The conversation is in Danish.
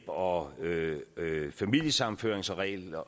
og familiesammenføringsregler